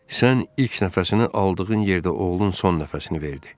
Sən ilk nəfəsini aldığın yerdə oğlun son nəfəsini verdi.